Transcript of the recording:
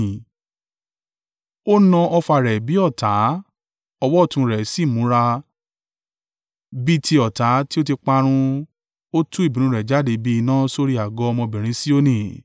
Ó na ọfà rẹ̀ bí ọ̀tá; ọwọ́ ọ̀tún rẹ̀ sì múra. Bí ti ọ̀tá tí ó ti parun ó tú ìbínú rẹ̀ jáde bí iná sórí àgọ́ ọmọbìnrin Sioni.